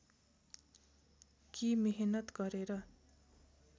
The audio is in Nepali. कि मेहनत गरेर